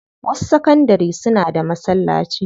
Wasu sakandari suna da masallaci.